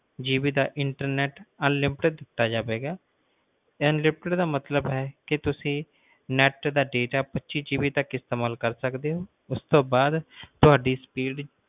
GB ਦਾ internetunlimited ਦਿੱਤਾ ਜਾਵੇਗਾ unlimited ਦਾ ਮਤਲਬ ਹੈ ਕਿ ਤੁਸੀਂ ਨੇਤ ਦਾ data ਪਚਿ GB ਤਕ ਇਸਤੇਮਾਲ ਕਰ ਸਕਦੇ ਹੋ ਉਸ ਤੋਂ ਬਾਅਦ ਤੁਹਾਡੀ speed